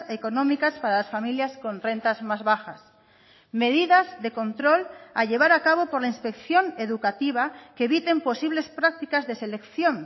económicas para las familias con rentas más bajas medidas de control a llevar a cabo por la inspección educativa que eviten posibles prácticas de selección